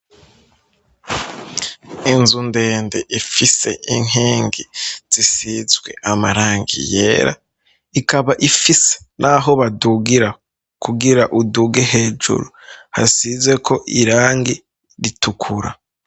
inzu ndende ifise inkingi zisizwe amarangi yera ikaba ifise n'aho badugira kugira uduge hejuru hasize ko irangi ritukura